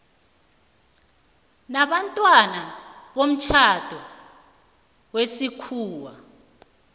nabantwana bomtjhado wesikhuwa